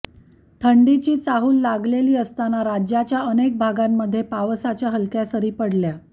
थंडीची चाहूल लागलेली असताना राज्याच्या अनेक भागांमध्ये पावसाच्या हलक्या सरी पडल्या